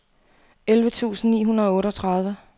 elleve tusind ni hundrede og otteogtredive